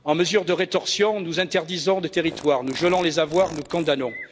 En mesure de rétorsion, nous interdisons des territoires, nous gelons les avoirs, nous condamnons.